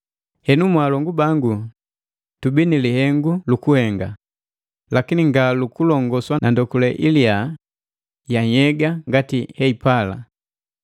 Henu mwaalongu bangu, tubii ni lihengu lukuhenga, lakini nga lukulongoswa na ndokule iliya ya nhyega ngati heipala.